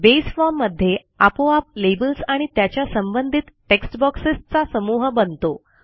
base form मध्ये आपोआप labels आणि त्याच्या संबंधित टेक्स्ट बॉक्सेसचा समूह बनतो